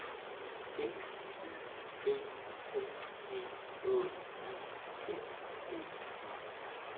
D Y B T G Å E N D E